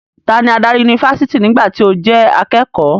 Tani adarí yunifásítì nígbà tí o jẹ́ akékọ̀ọ́?